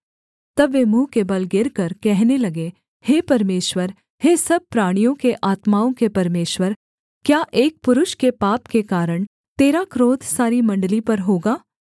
तब वे मुँह के बल गिरकर कहने लगे हे परमेश्वर हे सब प्राणियों के आत्माओं के परमेश्वर क्या एक पुरुष के पाप के कारण तेरा क्रोध सारी मण्डली पर होगा